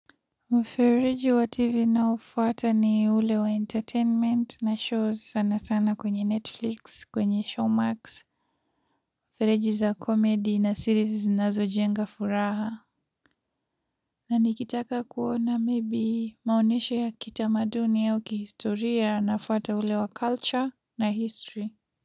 Mfereji wa tv naoufuata ni ule wa entertainment na shows sana sana kwenye netflix kwenye showmax. Mifereji za comedy na series zinazojenga furaha na nikitaka kuona maybe maonyesho ya kitamaduni au kihistoria nafuata ule wa culture na history muziki.